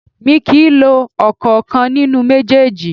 Mi kì í lo ọ̀kankan nínú méjèèjì